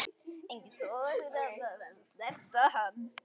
Enginn þorir að snerta hann.